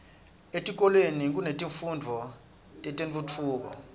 etikolweni kunetifundvo tetentfutfuko